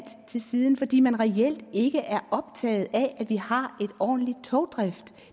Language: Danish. til side fordi man reelt ikke er optaget af at vi har en ordentlig togdrift